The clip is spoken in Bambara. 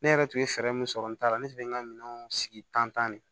Ne yɛrɛ tun ye fɛɛrɛ min sɔrɔ n taara ne tun bɛ n ka minɛnw sigi tan ne